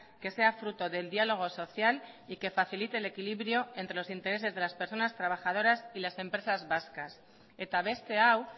que sea fruto del diálogo social y que facilite el equilibrio entre los intereses de las personas trabajadoras y las empresas vascas eta beste hau